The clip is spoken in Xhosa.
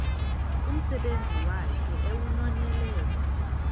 umsebenzi wakhe ewunonelele